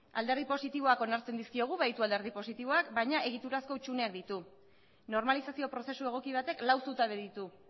alderdi positiboak onartzen dizkiogu baditu alderdi positiboak baina egiturazko hutsuneak ditu normalizazio prozesu egoki batek lau zutabe ditu